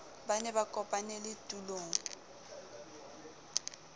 ba ne ba kopanele tulong